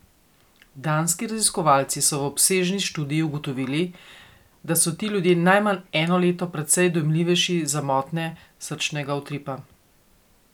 Danski raziskovalci so v obsežni študiji ugotovili, da so ti ljudje najmanj eno leto precej dojemljivejši za motnje srčnega utripa.